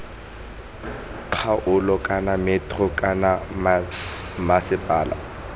kgaolo kana metro kana mmasepala